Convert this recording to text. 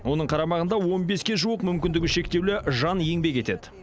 оның қарамағында он беске жуық мүмкіндігі шектеулі жан еңбек етеді